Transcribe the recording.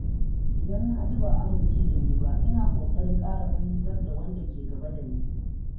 Idan na ji ba'a amince dani ba, ina kokarin ƙara fahimtar wanda ke gaba da ni.